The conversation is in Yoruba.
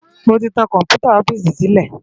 Mó ti tán kòmpútá òfìsí silé